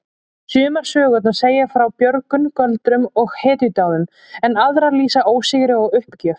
Sumar sögurnar segja frá björgun, göldrum og hetjudáðum en aðrar lýsa ósigri og uppgjöf.